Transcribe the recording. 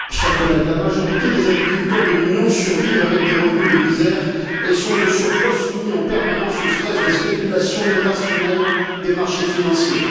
Madame la Présidente, chers collègues, la majorité des agriculteurs de l'Union survivent avec des revenus de misère et sont, de surcroît, soumis en permanence au stress des spéculations irrationnelles des marchés financiers.